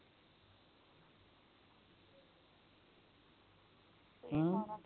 ਹਮ